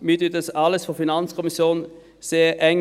Wir betreuen das alles vonseiten der FiKo sehr eng.